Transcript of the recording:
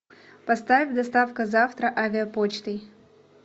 поставь доставка завтра авиапочтой